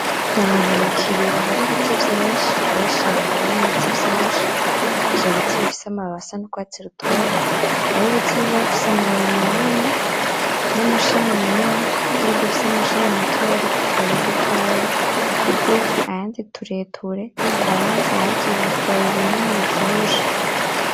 N'ahantu mu kibra har'ibiti vy'inshi, har'ishamba ririmwo Ibiti vyinshi ,ivyo biti bifise amababi asa n'urwatsi rutoto, har'ibiti bimwe bifise amabi manini, n'amashami manini n'ibindi bifise amashami matoya ariko utubabi dutoya, tugufi ayandi tureture twonze, ayandi ibibabi binini bivyibushe.